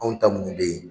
Anw ta minnu bɛ yen